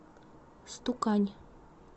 стукань